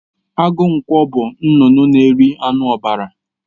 Agụ ǹkwọ bú nnụnụ na eri anụ ọbara.